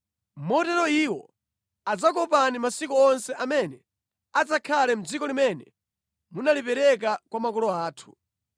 motero iwo adzakuopani masiku onse amene adzakhale mʼdziko limene munalipereka kwa makolo athu.